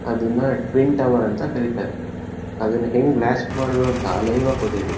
ಅದನ್ನ twin tower ಅಂತ ಕರಿತಾರೆ. ಅದನ್ನ ಹೆಂಗ್ ಬ್ಲಾಸ್ಟ್ ಮಾಡೋದು ಅಂತ ಲೈವ್ ಆಗ್ ಕೊಟ್ಟಿದ್ರು.